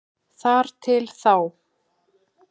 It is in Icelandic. Þar til þá.